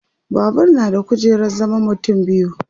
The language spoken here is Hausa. Babur na da kujerar zaman mutum biyu